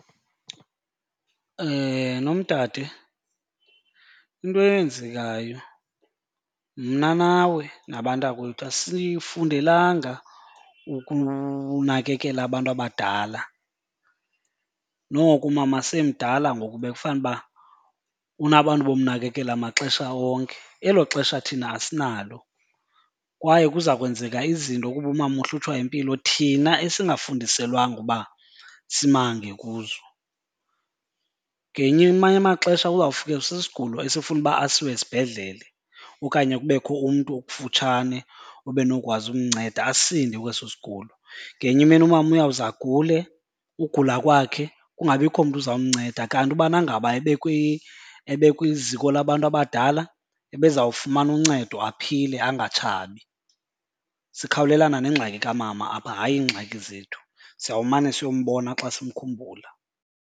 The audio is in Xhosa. Nomdade, into eyenzekayo mna nawe nabantakwethu asifundelanga ukunakekela abantu abadala, noko umama semdala ngoku bekufuba unabantu bomnakekela maxesha onke. Elo xesha thina asinalo kwaye kuza kwenzeka izinto kuba umama uhlutshwa yimpilo thina esingafundiselwanga uba simange kuzo. Amanye amaxesha uzawufikelwa sisigulo esifuna uba asiwe esibhedlele okanye kubekho umntu okufutshane ube nokwazi umnceda asinde kweso sigulo. Ngenye imini umama uyawuze agule, ugula kwakhe kungabikho mntu uzamnceda. Kanti ubana ngaba ebekwiziko labantu abadala ebezawufumana uncedo aphile, angatshabi. Sikhawulelane nengxaki kamama apha, hayi iingxaki zethu. Siyawumane siyombona xa simkhumbula.